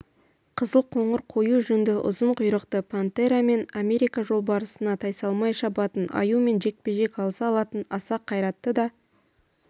қызыл-қоңыр қою жүнді ұзын құйрықты пантера мен америка жолбарысына тайсалмай шабатын аюмен жекпе-жек алыса алатын аса қайратты да